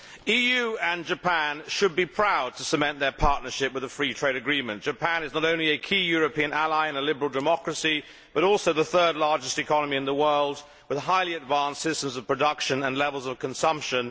The EU and Japan should be proud to cement their partnership in a free trade agreement Japan is not only a key European ally and a liberal democracy, but also the third largest economy in the world, with highly advanced systems of production and levels of consumption.